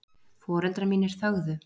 Foreldrar mínir þögðu.